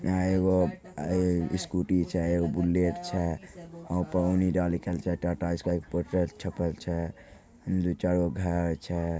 आय एगोआय एगो स्कूटी छै एगो बुलेट छै ओय पर ऑनी डा लिखल छैटाटा स्काई के पोस्टर छपल छै। दू चार गो भेड़ छै।